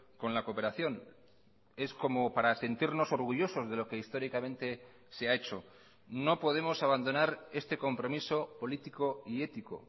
con la cooperación es como para sentirnos orgullosos de lo que históricamente se ha hecho no podemos abandonar este compromiso político y ético